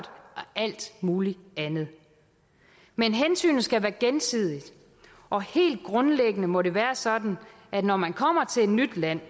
alt muligt andet men hensynet skal være gensidigt og helt grundlæggende må det være sådan at når man kommer til et nyt land